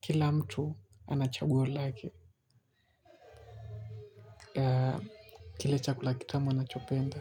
kila mtu ana chaguo lake. Ya kile chakula kitamu anachopenda.